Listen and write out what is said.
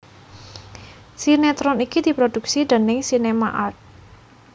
Sinéetron iki diproduksi déning SinemArt